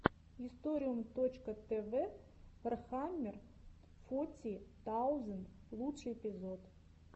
историум точка тв вархаммер фоти таузенд лучший эпизод